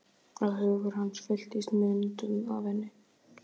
Að hugur hans fylltist myndum af henni.